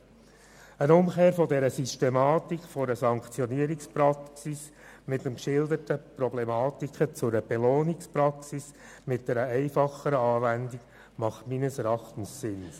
Eine Umkehr dieser Systematik von der Sanktionspraxis mit der geschilderten Problematik hin zu einer Belohnungspraxis mit einer einfacheren Anwendung macht meines Erachtens Sinn.